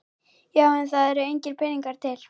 Já en það eru engir peningar til.